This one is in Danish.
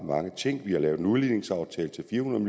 ting vi har lavet en udligningsaftale til fire hundrede